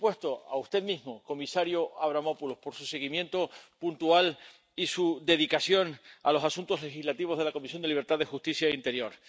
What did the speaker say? y, por supuesto, a usted mismo, comisario Avramopoulos, por su seguimiento puntual y su dedicación a los asuntos legislativos de la Comisión de Libertades Civiles, Justicia y Asuntos de Interior.